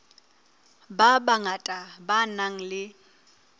ba bangata ba nang le